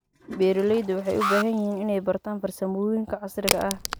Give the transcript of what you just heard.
Beeralayda waxay u baahan yihiin inay bartaan farsamooyinka casriga ah.